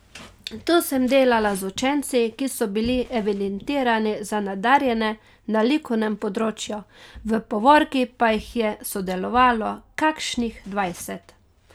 To sem delala z učenci, ki so bili evidentirani za nadarjene na likovnem področju, v povorki pa jih je sodelovalo kakšnih dvajset.